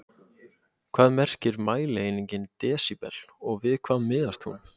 Hvað merkir mælieiningin desíbel og við hvað miðast hún?